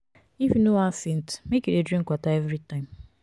if you no wan faint make you dey drink water everytime.